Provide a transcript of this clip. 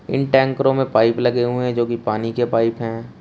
इन टैंकरों में पाइप लगे हुए हैं जो की पानी के पाइप हैं।